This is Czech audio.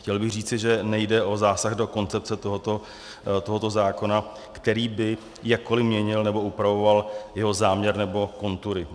Chtěl bych říci, že nejde o zásah do koncepce tohoto zákona, který by jakkoliv měnil nebo upravoval jeho záměr nebo kontury.